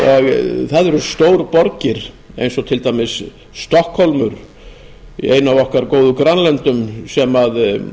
kostur og það eru stórborgir eins og til dæmis stokkhólmur ein af okkar góðu grannlöndum sem